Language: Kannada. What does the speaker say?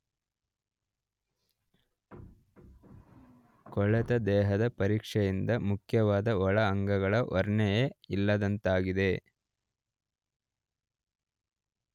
ಕೊಳೆತ ದೇಹದ ಪರೀಕ್ಷೆಯಿಂದ ಮುಖ್ಯವಾದ ಒಳ ಅಂಗಗಳ ವರ್ಣನೆಯೇ ಇಲ್ಲದಂತಾಗಿದೆ.